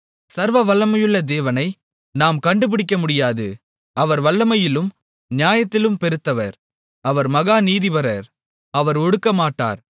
சர்வவல்லமையுள்ள தேவனை நாம் கண்டுபிடிக்கமுடியாது அவர் வல்லமையிலும் நியாயத்திலும் பெருத்தவர் அவர் மகா நீதிபரர் அவர் ஒடுக்கமாட்டார்